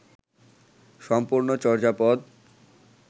সম্পূর্ণ চর্যাপদ